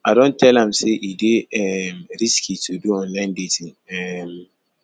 i don tell am sey e dey um risky to do online dating um